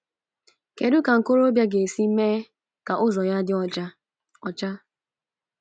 “kedụ ka nkorobịa ga-esi mee ka ụzọ ya dị ọcha?” ọcha?”